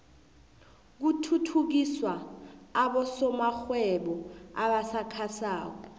kuthuthukiswa abosomarhwebo abasakhasako